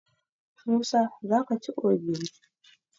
Musa za ka ci ogiri?